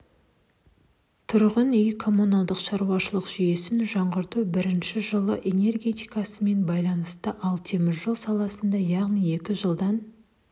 тұрғын үй-комуналды шаруашылық жүйесін жаңғырту бірінші жылу энергетикасымен байланысты ал теміржол саласында яғни екі жылдан